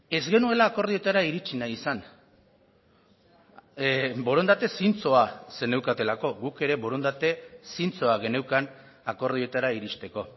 ez genuela akordioetara iritsi nahi izan borondate zintzoa zeneukatelako guk ere borondate zintzoa geneukan akordioetara iristeko